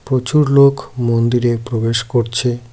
প্রচুর লোক মন্দিরে প্রবেশ করছে।